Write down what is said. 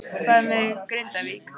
Hvað með Grindavík?